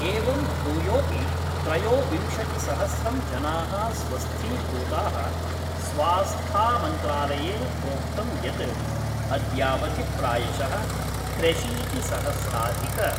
एवं भूयोऽपि त्रयोविंशतिसहस्रं जना: स्वस्थीभूता: स्वास्थामन्त्रालयेन प्रोक्तं यत् अद्यावधि प्रायशः त्र्यशीतिसहस्राधिक